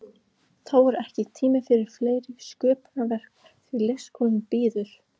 Þá er ekki tími fyrir fleiri sköpunarverk því leikskólinn bíður.